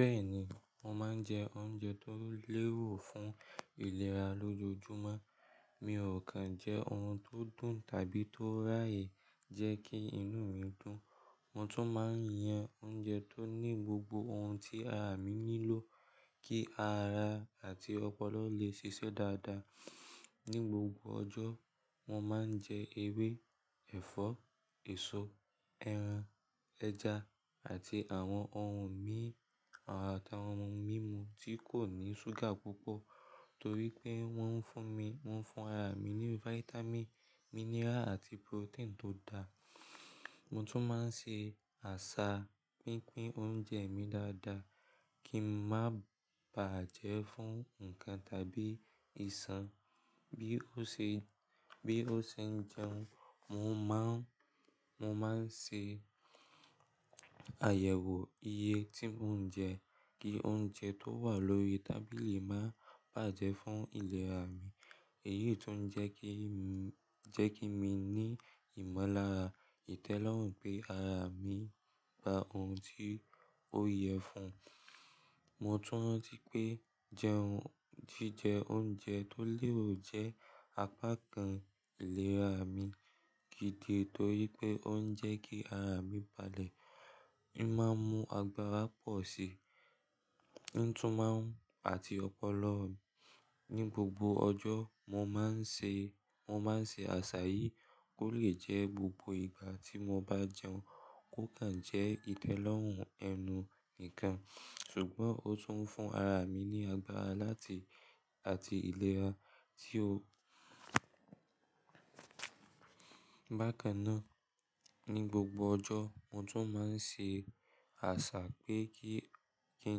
Bẹ́ẹ̀ni, mo máa ń jẹ oúnjẹ tó lérò fún ìlera lójoojúmọ́. Mi ò kan jẹ oun tí ó dùn tàbí tó raye jẹ́ kí inú mi dùn. Mo tún máa ń yan oúnjẹ tó ní gbogbo oun tí ara mi nílò kí ara àti ọpọlọ lè ṣiṣẹ́ dáadáa. Ni gbogbo ọjọ́, mo máa ń jẹ ewé, ẹ̀fọ́, èso, ẹran, ẹja àti àwọn oun mí àtàwọn oun mímu tí kò ní ṣúgà púpọ̀ torí pé wọ́n ń fún mi, wọ́n ń fún ara mi ní vitamin, mineral àti protein tó dáa. Mo tún máa ń ṣe àṣà pínpín oúnjẹ mi dáadáa kí ń má bàjẹ́ fún nǹkan tàbí ìsan. Bí ó ṣe, bí ó ṣe ń jẹun, mo máa ń, mo máa ń ṣe àyẹ̀wò iye tí mò ń jẹ kí oúnjẹ tó wà lórí tábìlì máa bàjẹ́ fún ìlera mi. Èyí tún jẹ́ kí mi, jẹ́ kí mi ní ìmọ̀lára ìtẹ́lọ́rùn pé ara mi gba oun tí ó yẹ fún. Mo tún ranti pé jẹun jíjẹ oúnjẹ tó lérò jẹ́ apá kan ìlera mi gidi torí pé ó ń jẹ́ kí ara mi balẹ̀. E máa ń mu agbára pọ̀ si ítún máa ń-- àti ọpọlọ. Ni gbogbo ọjọ́, mo máa ń ṣe, mo máa ń ṣe àṣà yìí kó lè jẹ́ gbogbo ìgbà tí mo bá jẹun. Ó kàn jẹ́ ìtẹ́lọ́rùn ẹnu nìkan ṣùgbọ́n ó tún ń fún ara mi ní agbára láti, àti ìlera tí ó Bákan náà, ní gbogbo ọjọ́ mo tún máa ń ṣe àṣà pé kí, kí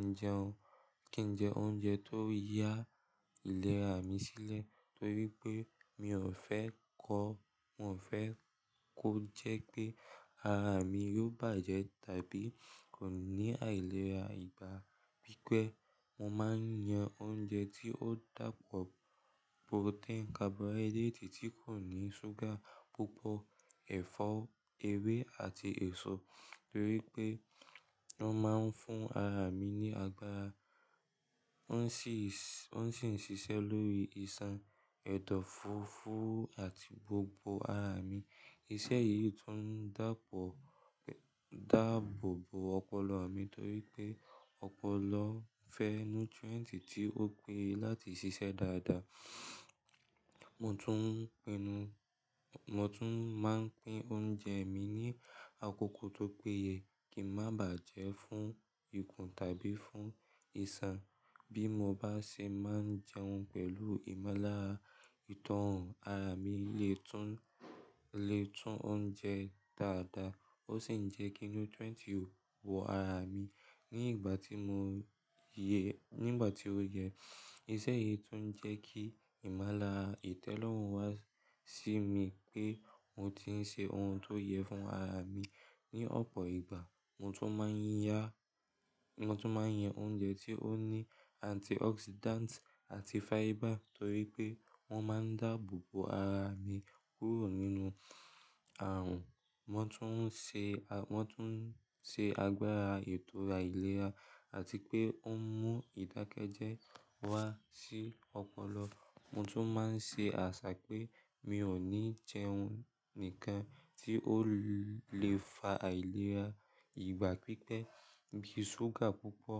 n jẹun, kí n jẹ oúnjẹ tó yá ìlera mi sílẹ̀ torí pé mi ò fẹ́ kọ́, mo fe kó jẹ́ pé arami yóò bàjẹ́ tàbí kò ní àìlera ìgbà pípẹ́. Mo máa ń yan oúnjẹ tí ó dàpọ̀ protein, carbohydrate tí kò ní ṣúgà púpọ̀, ẹ̀fọ́, ewé àti èso torí pé wọ́n máa ń fún ara mi ní agbára. Wọ́n sì ń, wọ́n sì ń ṣiṣẹ́ lórí ìsan, ẹ̀dọ̀fóró àti gbogbo ara mi. Iṣẹ́ yìí tún ń dàpọ̀, dáàbòbò ọpọlọ mi torí pé ọpọlọ fẹ́ nutrient tí ó péye láti ṣiṣẹ́ dáadáa. Mo tún pinnu, mo tún máa ń pín oúnjẹ mi ní àkókò tó péye kí ń má bàjẹ́ fún ikùn tàbí fún ìsan. Bí mo bá ṣe máa ń jẹun pẹ̀lú ìmọ̀lára ìtọ́rùn, ara mi lè tún, lè tún ounjẹ dáadáa ó sì ń jẹ́ kí nutrient wọ ara mi ní ìgbà tí mò yẹ, ní ìgbà tí ó yẹ. Iṣẹ́ yìí tún ń jẹ́ kí ìmọ̀lára ìtẹ́lọ́rùn wá sí mi pé mo ti ń ṣe oun tó yẹ fún ara mi. Ni ọ̀pọ̀ ìgbà, mo tún máa ń ya, mo tún máa ń yan oúnjẹ tí ó ní antioxidant àti fiber torí pé wọ́n máa ń dáàbòbò ara mi kúrò nínú àrùn. Wọn tún ń ṣe, wọ́n tún ń ṣe agbára ètò aìlera àti pé ó mú ìdákẹ́jẹ́ wá sí ọpọlọ. Mo tún máa ń ṣe àṣà pé mi ò ní jẹ oun nìkan tí ó lè fa àìlera ìgbà pípẹ́ bí ṣúgà púpọ̀,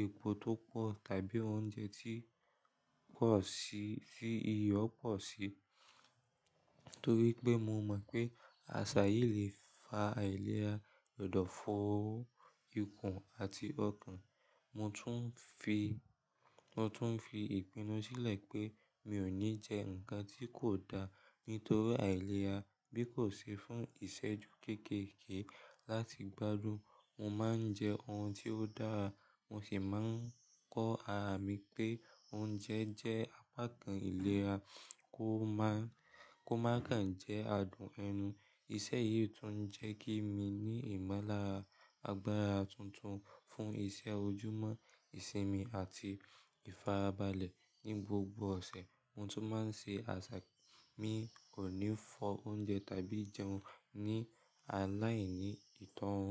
epo tó pọ̀ tàbí oúnjẹ tí pọ̀ sí, tí iyọ̀ pọ̀ sí torí pé mo mọ̀ pé àṣà yìí lè fa àìlera ọ̀dọ̀fóró, ikùn àti ọ̀kàn. Mo tún ń fi, mo tún ń fi ìpinnu sílẹ̀ pé mi ò ní jẹ nǹkan tí kò dáa nítorí àìlera bí kò ṣe fún ìṣẹ́ju kékèké láti gbádùn. Mo máa ń jẹ oun tí ó dára, mo sì máa ń kọ́ ara mi pé oúnjẹ jẹ́ apá kan ìlera kó má, kó má kan jẹ́ adùn ẹnu. Iṣẹ́ yìí tún ń jẹ́ kí mi ní ìmọ̀lára, agbára tuntun fún iṣẹ́ ojúmọ́, ìsinmi àti ìfarabalẹ̀ ní gbogbo ọ̀sẹ̀. Mo tún máa ń ṣe àṣà pé mi ò ní fọ́ oúnjẹ tàbí jẹun ní aláìní ìtọ́rùn.